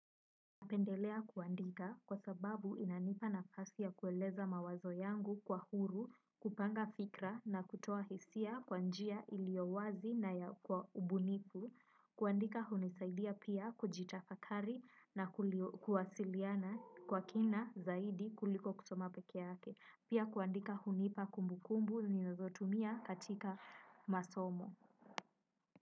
Napendelea kuandika kwa sababu inanipa nafasi ya kueleza mawazo yangu kwa huru, kupanga fikra na kutoa hisia kwa njia ilio wazi na ya kwa ubunifu, kuandika hunisaidia pia kujitafakari na kuwasiliana kwa kina zaidi kuliko kusoma pekee yake, pia kuandika hunipa kumbukumbu ninazotumia katika masomo.